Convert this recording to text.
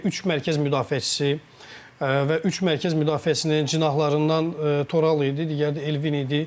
Üç mərkəz müdafiəçisi və üç mərkəz müdafiəçisinin cinahlarından Toral idi, digəri də Elvin idi.